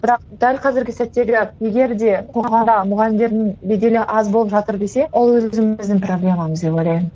бірақ дәл қазіргі сәттегі егер де мұғалімдердің беделі аз болып жатыр десе ол өзіміздің проблемамыз деп ойлаймын